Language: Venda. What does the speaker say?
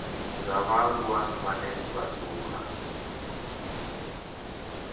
dza vhaaluwa vhane vha dzula